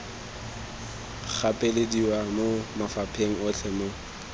gapelediwa mo mafapheng otlhe mo